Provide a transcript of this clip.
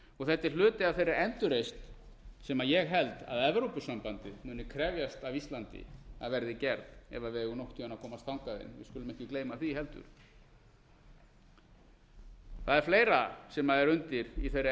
og þetta er hluti af þeirri endurreisn sem ég held að evrópusambandið muni krefjast af íslandi að verði gerð ef við eigum nokkurn tíma að komast þangað inn við skulum ekki gleyma því heldur það er fleira sem er undir í þeirri endurreisn sem